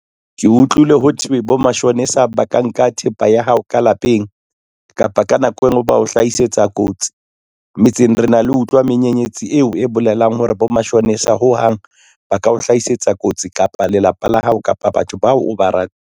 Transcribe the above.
Ke utlwile ho thwe bo mashonisa ba ka nka thepa ya hao ka lapeng kapa ka nako engwe ba o hlahisetsa kotsi metseng re na le ho utlwa menyenyetsi eo e bolelang hore bo mashonisa ho hang ba ka o hlahisetsa kotsi kapa lelapa la hao kapa batho bao o ba .